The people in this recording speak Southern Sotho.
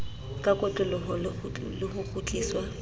ka kotloloho le ho kgutliswa